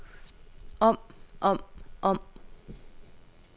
om om om